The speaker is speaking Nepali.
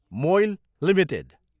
मोइल एलटिडी